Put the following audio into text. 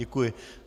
Děkuji.